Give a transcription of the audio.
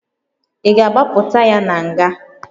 Ị ga a gbapụta ya na nga?